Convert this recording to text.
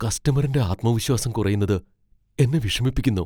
കസ്റ്റമറിന്റെ ആത്മവിശ്വാസം കുറയുന്നത് എന്നെ വിഷമിപ്പിക്കുന്നു.